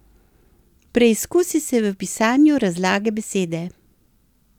Preizkusi se v pisanju razlage besede.